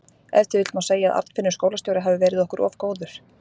Ef til vill má segja að Arnfinnur skólastjóri hafi verið okkur of góður.